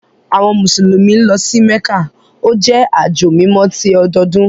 Àwọn Musulumi lọ sí Mekka, o jẹ ajo mímọ̀ tì ọdọọdun.